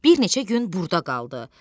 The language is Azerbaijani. Bir neçə gün burda qaldı.